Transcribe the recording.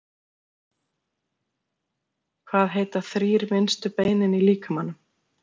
hvað heita þrír minnstu beinin í líkamanum